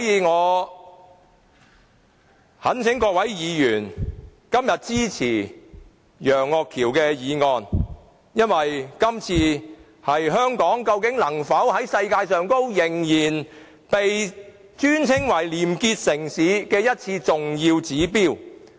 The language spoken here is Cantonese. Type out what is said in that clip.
我懇請各位議員支持楊岳橋議員提出的議案，因為這是香港能否繼續被稱為世界上的廉潔城市的重要指標。